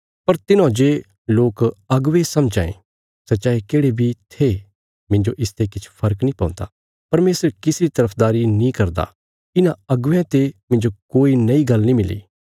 पर तिन्हौं जे लोक अगुवे समझां थे सै चाये केढ़े बी थे मिन्जो इसते किछ फर्क नीं पौन्दा परमेशर किसी री तरफदारी नीं करदा इन्हां अगुवेयां ते मिन्जो कोई नई गल्ल नीं मिली